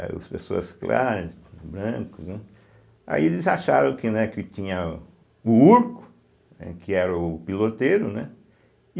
As pessoas claras, brancos... né, Aí eles acharam que né que tinha o Urco, né, que era o piloteiro, né? e